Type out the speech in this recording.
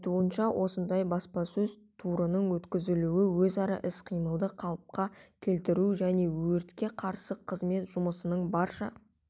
айтуынша осындай баспасөз турының өткізілуі өзара іс-қимылды қалыпқа келтіру және өртке қарсы қызмет жұмысының барша